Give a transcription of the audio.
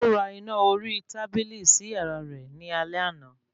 Ó ra iná orí tábìlì sí yàrá rẹ̀ ní alẹ́ àná